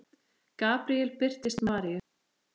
Gabríel birtist Maríu